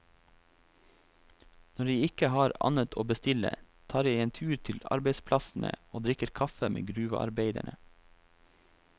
Når jeg ikke har annet å bestille, tar jeg en tur til arbeidsplassene og drikker kaffe med gruvearbeiderne.